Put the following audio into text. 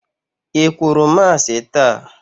I kwuru Masị taa?